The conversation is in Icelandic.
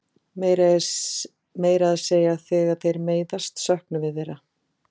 Meira að segja þegar þeir meiðast söknum við þeirra.